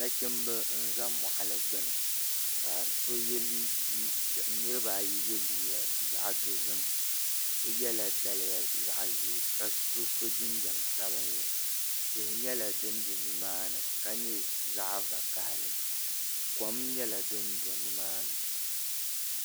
Nachimbi n ʒɛ moɣali gbuni ka niraba ayi yɛ liiga zaɣ dozim so yɛla daliya zaɣ ʒiɛ ka so so jinjɛm sabinli tihi nyɛla din bɛ nimaani ka nyɛ zaɣ vakaɣali kom nyɛla din do nimaani